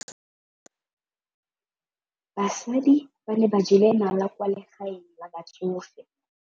Basadi ba ne ba jela nala kwaa legaeng la batsofe.